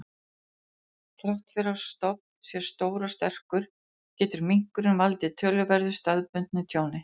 Þrátt fyrir að stofn sé stór og sterkur, getur minkurinn valdið töluverðu staðbundnu tjóni.